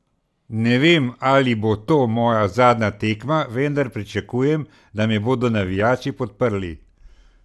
Ne vem, ali bo to moja zadnja tekma, vendar pričakujem, da me bodo navijači podprli.